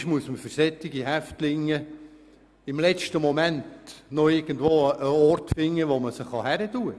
Und manchmal muss man für solche Häftlinge im letzten Moment noch irgendwo einen Ort finden, wo man sie platzieren kann.